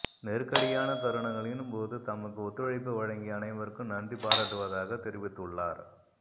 நெருக்கடியான தருணங்களின் போது தமக்கு ஒத்துழைப்பு வழங்கிய அனைவருக்கும் நன்றி பாராட்டுவதாகத் தெரிவித்துள்ளார்